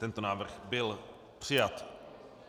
Tento návrh byl přijat.